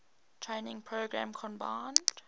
training program combined